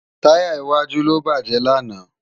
Tàyá iwàjú ló bájè làná